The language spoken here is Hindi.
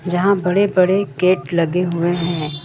जहां बड़े बड़े गेट लगे हुए है।